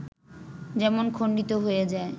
যেমন খণ্ডিত হয়ে যায়